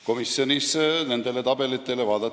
Komisjonis vaadati nendele tabelitele otsa.